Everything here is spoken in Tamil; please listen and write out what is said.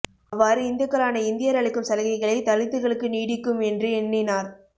அவ்வாறு இந்துக்களான இந்தியர் அளிக்கும் சலுகைகளே தலித்துக்களுக்கு நீடிக்கும் என்று எண்ணினார்